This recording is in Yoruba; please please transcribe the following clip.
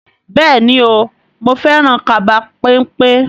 Bẹ́ẹ̀ni o, mo fẹ́ràn kaba pẹ́npẹ́?